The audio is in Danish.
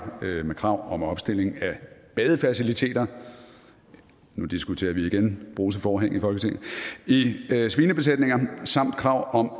med krav om opstilling af badefaciliteter nu diskuterer vi igen bruseforhæng i folketinget i svinebesætninger samt krav om